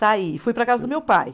Saí, fui para a casa do meu pai.